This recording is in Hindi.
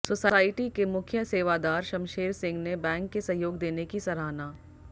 सोसायटी के मुख्य सेवादार शमशेर सिंह ने बैंक के सहयोग देने की सराहना